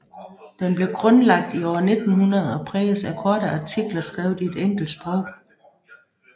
Den blev grundlagt i år 1900 og præges af korte artikler skrevet i et enkelt sprog